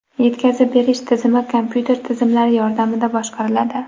Yetkazib berish tizimi kompyuter tizimlari yordamida boshqariladi .